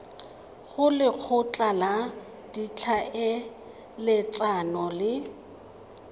go lekgotla la ditlhaeletsano le